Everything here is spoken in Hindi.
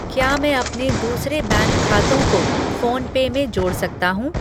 क्या मैं अपने दूसरे बैंक खातों को फ़ोन पे में जोड़ सकता हूँ?